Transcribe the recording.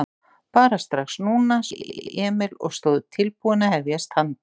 Bara strax. núna, svaraði Emil og stóð upp tilbúinn að hefjast handa.